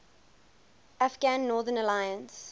afghan northern alliance